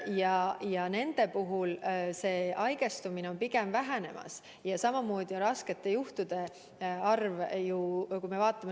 Ja nende inimeste puhul on haigestumine pigem vähenemas ja vähenemas on ka raskete juhtude arv.